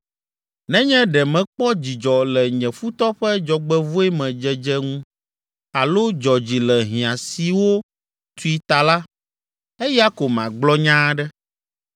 “Nenye ɖe mekpɔ dzidzɔ le nye futɔ ƒe dzɔgbevɔ̃e me dzedze ŋu alo dzɔ dzi le hiã siwo tui ta la, eya ko magblɔ nya aɖe.